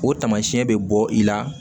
O tamasiyɛn bɛ bɔ i la